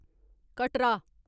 Katra